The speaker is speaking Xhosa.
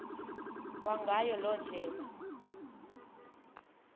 kwangayo loo ndlela